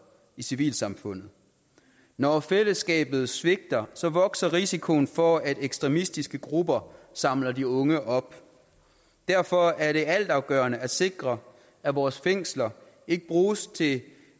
i civilsamfundet når fællesskabet svigter vokser risikoen for at ekstremistiske grupper samler de unge op derfor er det altafgørende at sikre at vores fængsler ikke bruges til